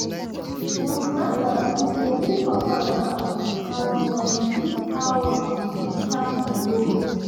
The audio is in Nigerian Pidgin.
dem remind their friend say real support um na to um teach how um to stand on your own